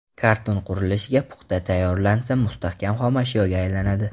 Karton qurilishga puxta tayyorlansa, mustahkam xomashyoga aylanadi.